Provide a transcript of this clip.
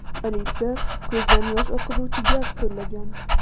Politsiya ko‘zdan yosh oqizuvchi gaz qo‘llagan.